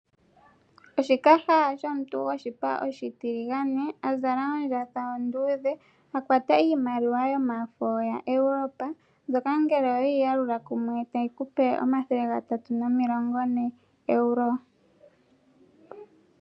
Oshikaha shomuntu goshipa oshitiligane a zala ondjatha onduudhe, a kwata iimaliwa yomafo yaEuropa, mbyoka ngele owe yi yalula kumwe tayi ku pe ooEuro omathele gatatu nomilongo ne.